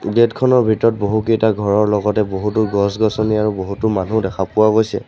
Gate খনৰ ভিতৰত বহুকেইটা ঘৰৰ লগতে বহুতো গছ গছনি আৰু বহুতো মানু্হ দেখা পোৱা গৈছে।